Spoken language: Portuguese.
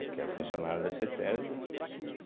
Porque era funcionário da cêtésbe